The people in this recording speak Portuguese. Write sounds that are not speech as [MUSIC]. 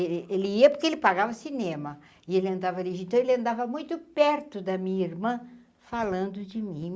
Êh ele ia porque ele pagava cinema e ele andava [UNINTELLIGIBLE] então ele andava muito perto da minha irmã, falando de mim.